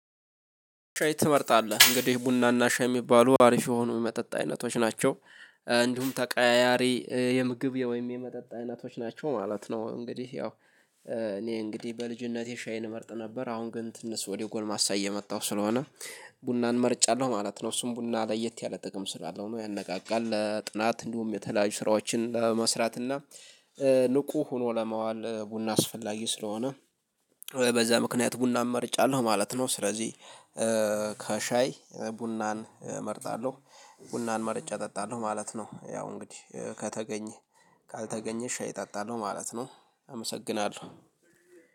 ሻይ ትመርጣለህ እንግዲህ ቡና እና ሻይ የሚባሉ አሪፍ የሆኑ መጠጥ አይነቶች ናቸው። እንዲሁም ተቀያያሪ የምግብ ወይም የመጠጥ አይነቶች ናቸው ማለት ነው። እንግዲህ ያው እኔ እንግዲህ በልጅነቴ ሻይን እመርጥ ነበር። አሁን ግን ትንሽ ወደ ጎልማሳ እየመጣው ስለሆነ ቡናን መርጫለሁ ማለት ነው። እሱም ቡና ለየት ያለ ጥቅም ስላለው ነው ያነቃቃል ለጥናት እንዲሁም የተለያዩ ስራዎችን ለመስራት እና ንቁ ሆኖ ለማዋል ቡና አስፈላጊ ስለሆነ። በዛ ምክንያት ቡና እመርጫለሁ ማለት ነው። ስለዚህ ከሻይ ቡናን እመርጣለሁ። ቡናን መርጬ እጠጣለሁ ማለት ነው። ያው እንግዲህ ከተገኘ ካልተገኘ ሻይ እጠጣሎህ ማለት ነው። አመሰግናለሁ